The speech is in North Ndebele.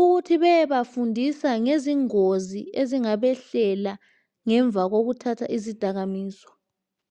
ukuthi bayebafundisa ngezingozi ezingabehlela, ngemva kokuthatha izidakamizwa.